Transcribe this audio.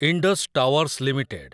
Indus towers limited